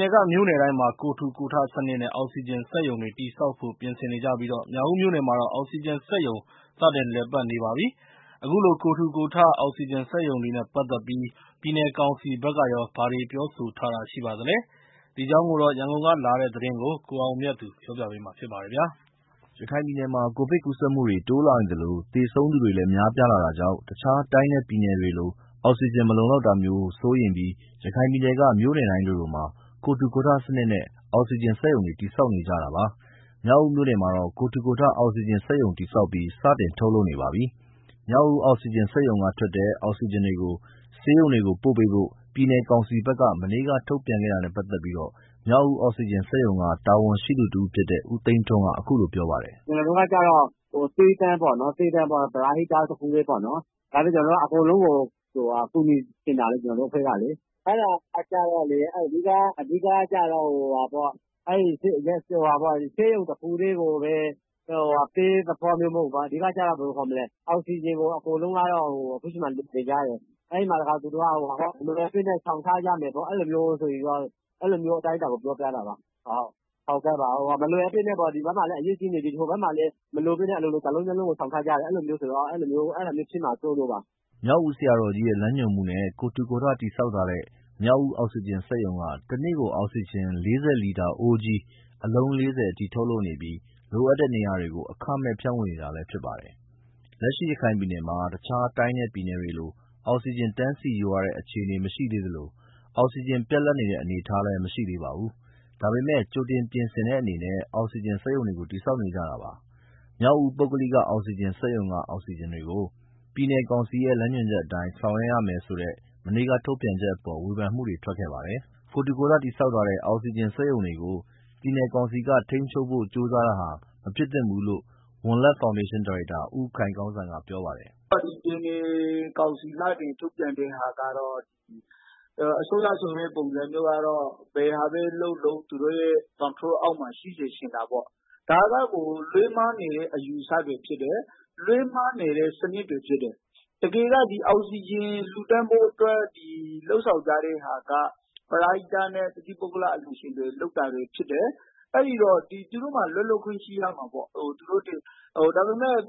နယ်က မြို့နယ်တိုင်းမှာ ကိုယ်ထူကိုယ်ထစနစ်နဲ့ အောက်ဆီဂျင်စက်ရုံတွေ တည်ဆောက်ဖို့ ပြင်ဆင်နေကြပြီး မြောက်ဦးမြို့နယ်မှာတော့ အောက်ဆီဂျင်စက်ရုံ စတင်လည်ပတ်နေပါပြီ။ အခုလို ကိုယ်ထူကိုယ်ထ အောက်ဆီဂျင်စက်ရုံတွေနဲ့ ပတ်သတ်ပြီး ပြည်နယ်ကောင်စီဘက်ကရော ဘာတွေ ပြောဆိုထားတာရှိပါသလဲ၊ ဒီအကြောင်း ရန်ကုန်ကလာတဲ့သတင်းကို ကိုအောင်မြတ်သူကပြောပြပါမယ်။ ရခိုင်ပြည်နယ်မှာ ကိုဗစ်ကူးစက်မှုတွေ တိုးလာနေသလို သေဆုံးသူတွေလည်း များပြားလာတာကြောင့် တခြားတိုင်းနဲ့ ပြည်နယ်တွေလို အောက်ဆီဂျင် မလုံလောက်တာမျိုးဖြစ်မှာ စိုးရိမ်ပြီး ရခိုင်ပြည်နယ်က မြို့နယ်တိုင်းလိုလိုမှာ ကိုယ်ထူကိုယ်ထစနစ်နဲ့ အောက်ဆီဂျင်စက်ရုံတွေ တည်ဆောက်နေကြတာပါ။ မြောက်ဦးမြို့နယ်မှာတော့ ကိုယ်ထကိုယ်ထ အောက်ဆီဂျင်စက်ရုံ တည်ဆောက်ပြီး စတင်ထုတ်လုပ်နေပါပြီ။ မြောက်ဦး အောက်ဆီဂျင်စက်ရုံကထွက်တဲ့ အောက်ဆီဂျင်တွေကို ဆေးရုံတွေကိုပို့ပေးဖို့ ပြည်နယ်ကောင်စီဘက်က မနေ့ ကထုတ်ပြန်ခဲ့တာနဲ့ပတ်သက်ပြီး မြောက်ဦးအောက်ဆီဂျင်စက်ရုံက တာဝန်ရှိသူတဦးဖြစ်တဲ့ ဦးသိန်းထွန်းက အခုလိုပြောပါတယ်။ “ကျနော်တို့က ကျတော့ သီးသန့် ပရဟိတ တခုတည်းပေါ့နော်။ အားလုံးကို ကူညီချင်တာလေ၊ ကျနော်တို့ အဖွဲ့ကကျတော့လေ။ စစ်ကောင်စီဘက်ကတော့ ဆေးရုံတခုတည်းကိုပဲ ပေးဆိုတဲ့သဘောမျိုးတော့ မဟုတ်ဘူး။ အောက်ဆီဂျင်ကို အကုန်လုံးကတော့ အခုအချိန်မှာ လိုနေကြတယ်။ မလိုအပ်ဘဲ ဆောင်ထားကြမယ်။ အဲလိုမျိုးအခြေအနေကို ပြောပြတာပါ။ဟိုဘက်မှာလည်း အရေးကြီးနေပြီ၊ ဒီဘက်မှာလည်း မလိုအပ်ပဲ ဆောင်ထ ားကြတယ် အဲလိုမျိုးဖြစ်နေမှာ စိုးလို့ပါ။” မြောက်ဦးဆရာတော်ကြီးရဲ့ လမ်းညွန်မှုနဲ့ ကိုယ်ထူကိုယ်ထ တည်ဆောက်ထားတဲ့ မြောက်ဦးအောက်ဆီဂျင် စက်ရုံက တန့ကို အောက်ဆီဂျင် ၄၀ လီတာ အိုးကြီး အလုံး ၄၀ အထိ ထုတ်လုပ်နေပြီး လိုအပ်တဲ့နေရာတွေကို အခမဲ့ ဖြန့်ဝေနေတာလည်းဖြစ်ပါတယ်။ လက်ရှိအချိန်ထိ ရခိုင်ပြည်နယ်မှာ တခြားတိုင်းနဲ့ ပြည်နယ်တွေလို အောက်ဆီဂျင် တန်းစီယူရတဲ့ အခြေအနေမရှိသေးသလို အောက်ဆီဂျင် ပြတ်လပ်နေတဲ့ အနေအထားလည်းမရှိသေးပါဘူး။ ဒါပေမယ့်လည်း ကြိုတင် ပြင်ဆင်တဲ့အနေနဲ့ အောက်ဆီဂျင်စက်ရုံတွေ တည်ဆောက်နေကြတာပါ။ မြောက်ဦး ပုဂ္ဂလိက အောက်ဆီဂျင်စက်ရုံက အောက်ဆီဂျင်တွေကို ပြည်နယ်ကောင်စီရဲ့ လမ်းညွန်ချက်အတိုင်း ဆောင်ရွက်ရမယ်ဆိုတဲ့ မနေ့ကထုတ်ပြန်ချက်အပေါ် ဝေဖန်မှုတွေ ထွက်ခဲ့ပါတယ်။ ကိုယ်ထူကိုယ်ထ တည်ဆောက်ထားတဲ့ အောက်ဆီဂျင်စက်ရုံတွေကို ပြည်နယ်ကောင်စီက ထိန်းချုပ်ဖို့ ကြိုးစားတာဟာ မဖြစ်သင့်ဘူးလို့ ဝံလက်ဖောင်ဒေးရှင်း ဒါရိုက်တာ ဦးခိုင်ကောင်းစံက ပြောပါတယ်။ “ပြည်နယ်ကောင်စီက ထုတ်ပြန်တဲ့ဟာကတော့ အစိုးရဆိုတဲ့ ပုံစံကတော့ ဘယ်ဟာပဲလုပ်လုပ် သူတို့ရဲ့ ထိန်းချုပ်မှုအောက်မှာ ရှိစေချင်တယ်။ ဒါကကို လွဲမှားနေတဲ့ အယူအဆတွေဖြစ်တယ်။ လွဲမှားနေတဲ့ စနစ်တွေဖြစ်တယ်။ တကယ်တမ်း အောက်ဆီဂျင် လှူဒါန်းဖို့အတွက် လုပ်ဆောင်ကြတဲ့ဟာက ပရဟိတနဲ့ တသီးပုဂ္ဂလ အလှူရှင်တွေ လုပ်တာဖြစ်တယ်။ သူတို့မှာ လွတ်လပ်ခွင့်ရှိရမှာပေါ့။ ဒါပေမယ့်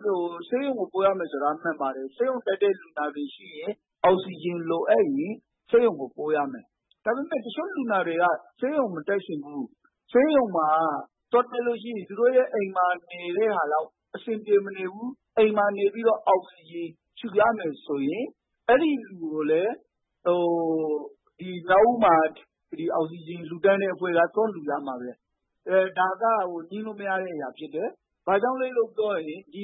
ဆေးရုံကိုပို့ရမယ် ဆိုတာကတော့ မှန်ပါတယ်။ ဆေးရုံတက်တဲ့ လူနာတွေအတွက် အောက်ဆီဂျင်လိုအပ်ရင် ဆေးရုံကိုပို့ရမှာပဲ။ ဒါပေမယ့် တချို့လူတွေက ဆေးရုံမတက်ချင်ဘူး၊ ဆေးရုံတက်တာထက် အိမ်မှာနေပြီးတော့ အောက်ဆီဂျင် ရှူရမယ်ဆိုရင် အဲဒီလူကိုလည်း မြောက်ဦးက အောက်ဆီဂျင် လှူဒါန်းတဲ့အဖွဲ့က သွားလှူရမှာပဲ။ ဒါက ငြင်းလို့မရတဲ့ အရာဖြစ်တယ်။ ဘာလို့လည်းဆိုတော့ ဒီ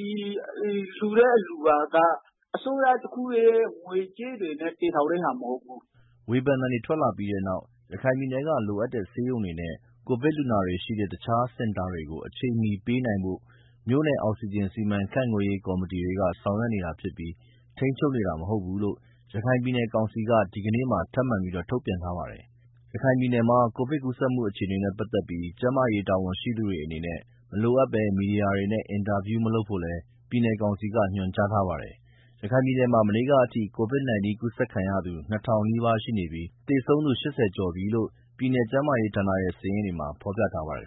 စက်ရုံတွေဟာ အစိုးရတခုတည်း ငွေကြေးတွေနဲ့ တည်ထောင်တာမဟုတ်ဘူး။” ဝေဖန်သံတွေ ထွက်လာပြီးတဲ့နောက် ရခိုင်ပြည်နယ်က လိုအပ်တဲ့ ဆေးရုံတွေနဲ့ ကိုဗစ်လူနာတွေရှိတဲ့ တခြားစင်တာတွေကို အချိန်မီပေးနိုင်ဖို့ မြို့နယ် အောက်ဆီဂျင် စီမံခန့်ခွဲရေး ကော်မတီတွေက ဆောင်ရွက်နေတာဖြစ်ပြီး ထိန်းချုပ်နေတာမဟုတ်ဘူးလို့ ရခိုင်ပြည်နယ်ကောင်စီက ဒီကနေ့မှာ ထပ်ပြီး ထုတ်ပြန်ထားပါတယ်။ ရခိုင်ပြည်နယ်မှာ ကိုဗစ်ကူးစက်မှု အခြေအနေနဲ့ပတ်သက်ပြီး ကျန်းမာရေးတာဝန်ရှိသူတွေအနေနဲ့ မလိုအပ်ဘဲ မီဒီယာတွေနဲ့ အင်တာဗျူးမလုပ်ဖို့လည်း ပြည်နယ်ကောင်စီက ညွန်ကြားပါတယ်။ ရခိုင်ပြည်နယ်မှာ မနေ့ကအထိ COVID-19 ကူးစက်ခံရသူ ၂,၀၀၀ နီးပါးရှိနေပြီး သေဆုံးသူ ၈၀ ကျော်ပြီလို့ ပြည်နယ်ကျန်းမာရေးဌာနရဲ့ စာရင်းတွေမှာ ဖော်ပြထားပါတယ်